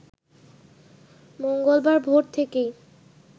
মঙ্গলবার ভোর থেকেই